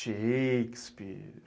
Shakespeare.